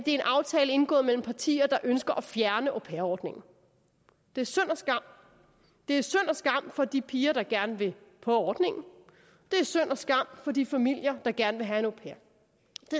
en aftale indgået mellem partier der ønsker at fjerne au pair ordningen det er synd og skam det er synd og skam for de piger der gerne vil på ordningen det er synd og skam for de familier der gerne vil have vil